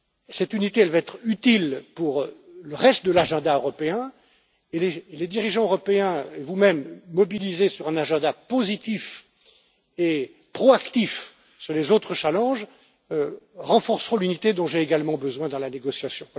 Cette unité va être utile pour le reste de l'agenda européen et les dirigeants européens et vous mêmes, mobilisés sur un agenda positif et proactif sur les autres défis, renforceront l'unité dont j'ai également besoin dans la négociation.